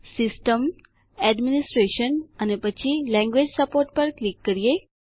system administration અને પછી language support પર ક્લિક કરો